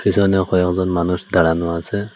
পিছনে কয়েকজন মানুষ দাঁড়ানো আছে।